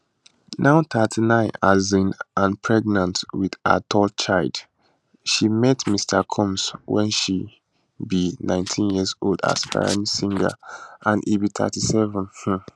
now 38 um and pregnant wit her third child she meet mr combs wen she be 19yearold aspiring singer and e be 37 um